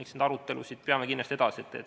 Eks neid arutelusid peame kindlasti edasi.